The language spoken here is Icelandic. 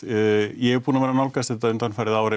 ég er búinn að vera að nálgast þetta undanfarið ár